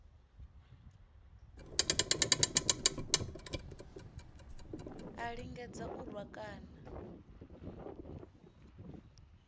a lingedza u rwa kana